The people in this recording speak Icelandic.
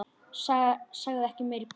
Sagði ekki meira í bili.